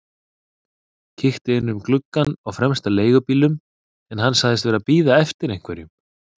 Kíkti inn um gluggann á fremsta leigubílnum en hann sagðist vera að bíða eftir einhverjum.